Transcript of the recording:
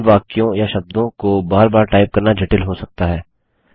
उन वाक्यों या शब्दों को बार बार टाइप करना जटिल हो सकता है